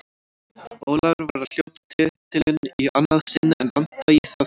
Ólafur var að hljóta titilinn í annað sinn en Vanda í það fjórða.